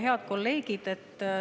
Head kolleegid!